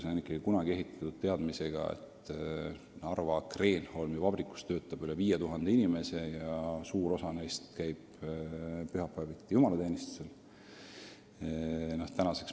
See on kunagi ehitatud teadmisega, et Narva Kreenholmi vabrikus töötab üle 5000 inimese ja suur osa neist käib pühapäeviti jumalateenistusel.